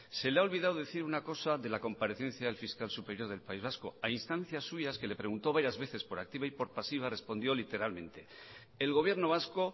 se le ha olvidado decir una cosa de la comparecencia del fiscal superior del país vasco a instancias suyas que le preguntó varias veces por activa y por pasiva respondió literalmente el gobierno vasco